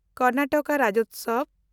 Karnataka Rajyotsava